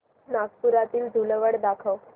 नागपुरातील धूलवड दाखव